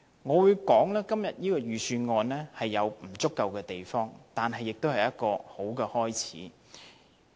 我會說今年這份預算案有其不足之處，但也是一個好開始。